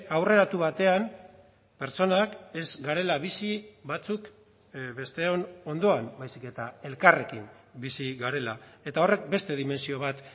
aurreratu batean pertsonak ez garela bizi batzuk besteon ondoan baizik eta elkarrekin bizi garela eta horrek beste dimentsio bat